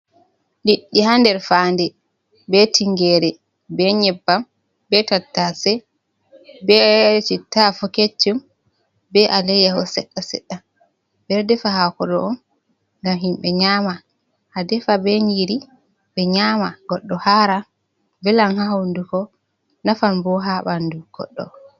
Liɗɗi haa nder fayande, be tingere, be nyebbam, be tattace, bee citta afo keccum, be aleyyaho seɗɗa-seɗɗa. Ɓe ɗo defa hako ɗo on ngam himɓe nyama. A defa be nyiri ɓe nyama goɗɗo hara, velan haa hunduko, nafan bo haa ɓandu goɗɗo.